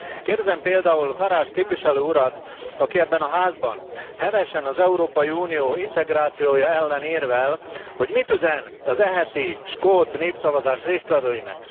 Kérdezem például Farage képviselő urat, aki ebben a házban hevesen az Európai Unió integrációja ellen érvel, hogy mit üzen az eheti skót népszavazás résztvevőinek?